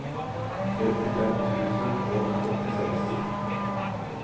trettifem tusen og åttiseks